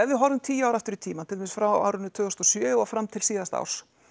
við horfum tíu ár aftur í tímann til dæmis frá árinu tvö þúsund og sjö og fram til síðasta árs